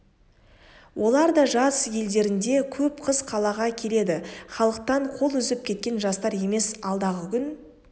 олар да жаз елдерінде боп қыс қалаға келеді халықтан қол үзіп кеткен жастар емес алдағы күн